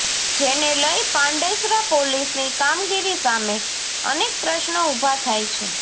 જેને લઈ પાંડેસરા પોલીસની કામગીરી સામે અનેક પ્રશ્નો ઉભા થાય છે